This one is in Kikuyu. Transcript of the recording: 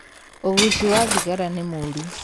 ũguci wa thigara nĩmũru.